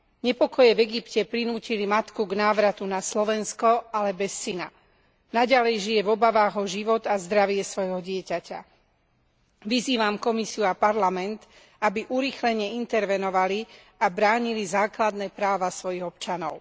Nepokoje v Egypte prinútili matku k návratu na Slovensko, ale bez syna. Naďalej žije v obavách o život a zdravie svojho dieťaťa. Vyzývam Komisiu a Parlament, aby urýchlene intervenovali a bránili základné práva svojich občanov.